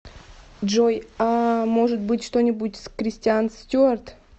джой ааа может быть что нибудь с кристианц стюард